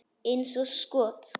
Eins og skot!